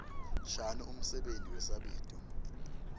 shano umsebenti wesabito